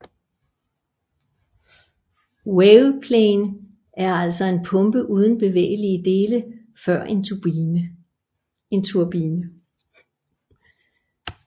WavePlane er altså en pumpe uden bevægelige dele før en turbine